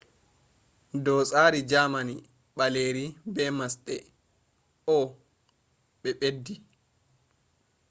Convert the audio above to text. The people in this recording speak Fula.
do tsari germany ɓaleeri be masɗe õ/õ”ɓe ɓeddi